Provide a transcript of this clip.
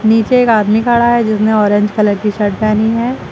नीचे एक आदमी खड़ा है जिसने ऑरेंज कलर की शर्ट पेहनी है।